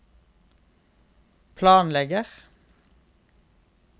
planlegger